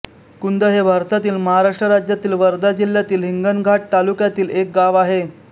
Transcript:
कुंद हे भारतातील महाराष्ट्र राज्यातील वर्धा जिल्ह्यातील हिंगणघाट तालुक्यातील एक गाव आहे